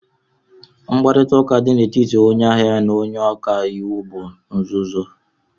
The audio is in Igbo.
Mkparịta ụka dị n'etiti onye ahịa na onye ọka iwu bụ nzuzo